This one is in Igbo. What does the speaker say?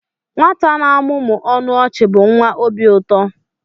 Nwata na-amụmụ ọnụ ọchị bụ nwa obi ụtọ.